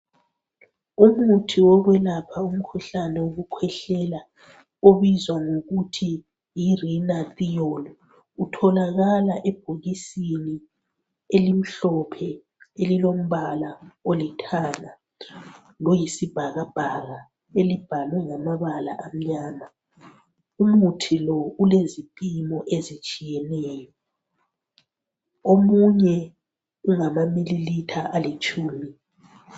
umuthi wokwelapha umkhuhlane wokukhwehlela obizwa ngokuthi yi Rhinathiol utholakala ebhokisini elimhlophe elilombala olithanga loyisibakabhaka elibhalwe ngamabala amnyama umuthi lo ulezipimo ezitshiyeneyo omunye ungama millilitre alitshumi